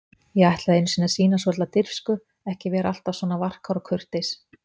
Ég ætlaði einu sinni að sýna svolitla dirfsku, ekki vera alltaf svona varkár og kurteis.